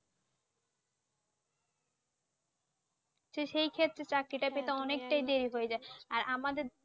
তো সের ক্ষেত্তে চাকরিটা দেরি হয়ে যাই আর আমাদের